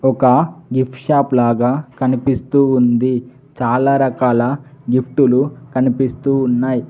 ఒక gift shop లాగా కనిపిస్తూ ఉంది చాలా రకాల గిఫ్టులు కనిపిస్తూ ఉన్నాయి.